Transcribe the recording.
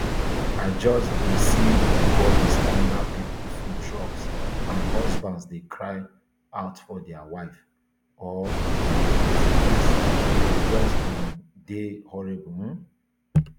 i just see bodies under pipo food trucks and husbands dey cry out for dia wife or dia kids kids e just um dey horrible um